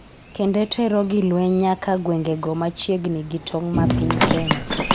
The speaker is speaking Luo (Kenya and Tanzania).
kendo tero gi lweny nyaka gwengego ma chiegni gitong' ma piny Kenya